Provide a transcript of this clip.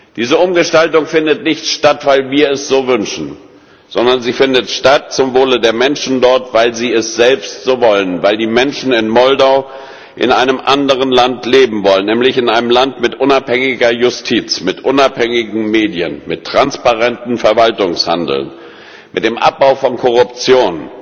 Diese Umgestaltung findet nicht statt, weil wir es so wünschen, sondern sie findet statt zum Wohle der Menschen dort, weil sie es selbst so wollen, weil die Menschen in Moldau in einem anderen Land leben wollen, nämlich in einem Land mit unabhängiger Justiz, mit unabhängigen Medien, mit transparentem Verwaltungshandeln, mit dem Abbau von Korruption,